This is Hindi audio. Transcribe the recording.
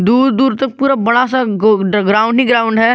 दूर दूर तक पूरा बड़ा सा ग्राउंड ही ग्राउंड है।